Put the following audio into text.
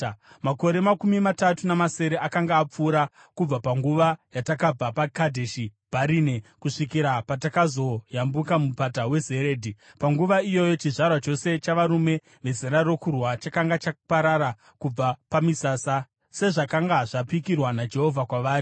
Makore makumi matatu namasere akanga apfuura kubva panguva yatakabva paKadheshi Bharinea kusvikira patakazoyambuka Mupata weZeredhi. Panguva iyoyi chizvarwa chose chavarume vezera rokurwa chakanga chaparara kubva pamisasa, sezvakanga zvapikirwa naJehovha kwavari.